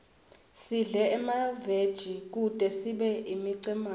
sidle emaveji kute sibe imicemane